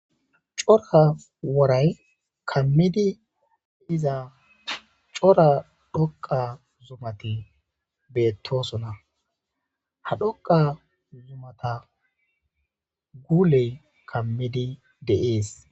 cora woray kammidi diza cora dhoqa zumati beettosona ha dhoqa zumata guuley kammidi de'ees